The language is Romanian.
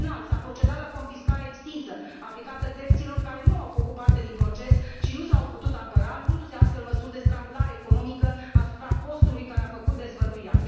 În final, s a procedat la confiscarea extinsă aplicată terților care nu au făcut parte din proces și nu s au putut apăra, luându se astfel măsuri de strangulare economică asupra postului care a făcut dezvăluirea.